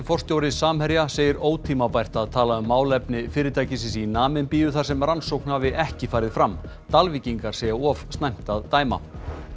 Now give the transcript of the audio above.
forstjóri Samherja segir ótímabært að tala um málefni fyrirtækisins í Namibíu þar sem rannsókn hafi ekki farið fram Dalvíkingar segja of snemmt að dæma